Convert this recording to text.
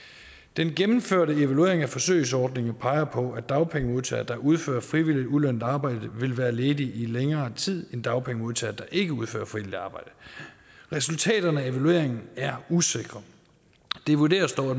den gennemførte evaluering af forsøgsordningen peger på at dagpengemodtagere der udfører frivilligt ulønnet arbejde vil være ledige i længere tid end dagpengemodtagere der ikke udfører frivilligt arbejde resultaterne af evalueringen er usikre det vurderes dog at